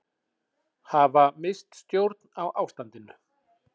Hafa misst stjórn á ástandinu